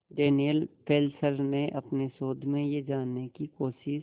Daniel Fessler ने अपने शोध में यह जानने की कोशिश